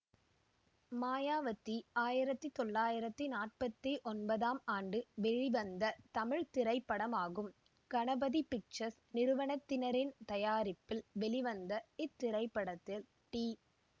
மாயாவதி ஆயிரத்தி தொள்ளாயிரத்தி நாற்பத்தி ஒன்பதாம் ஆண்டு வெளிவந்த தமிழ் திரைப்படமாகும் கணபதி பிக்சர்ஸ் நிறுவனத்தினரின் தயாரிப்பில் வெளிவந்த இத்திரைப்படத்தில் டி